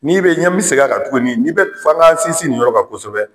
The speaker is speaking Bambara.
N'i bɛ ɲɛ mi segin a ka tuguni ni bɛ f'an k'an sinsi nin yɔrɔ kan kosɛbɛ.